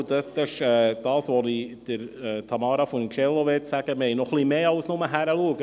Zusätzlich – das möchte ich zu Tamara Funiciello sagen – tun wir noch etwas mehr, als bloss hinzuschauen.